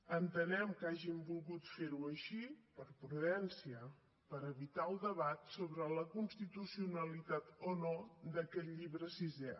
entenem que hagin volgut ferho així per prudència per evitar el debat sobre la constitucionalitat o no d’aquest llibre sisè